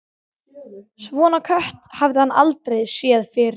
Svona kött hafði hann aldrei séð fyrr.